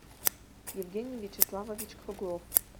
евгений вячеславович круглов